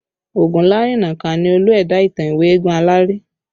Ogunlarinnaka ni Olú ẹ̀dá ìtàn ìwé Eégún Aláré